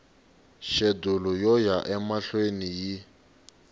xedulu yo ya emahlweni yi